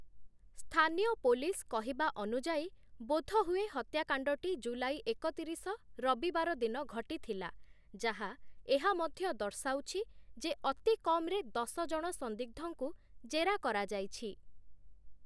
ସ୍ଥାନୀୟ ପୋଲିସ୍ କହିବା ଅନୁଯାୟୀ, ବୋଧହୁଏ ହତ୍ୟାକାଣ୍ଡଟି ଜୁଲାଇ ଏକତିରିଶ ରବିବାର ଦିନ ଘଟିଥିଲା, ଯାହା ଏହା ମଧ୍ୟ ଦର୍ଶାଉଛି ଯେ ଅତି କମ୍‍‍ରେ ଦଶ ଜଣ ସନ୍ଦିଗ୍ଧଙ୍କୁ ଜେରା କରାଯାଇଛି ।